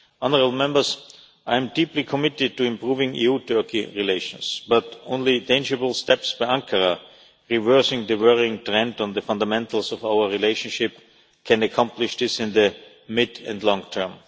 Honourable Members, I am deeply committed to improving EU Turkey relations, but only tangible steps by Ankara, reversing the worrying trend on the fundamentals of our relationship, can accomplish this in the mid and long term.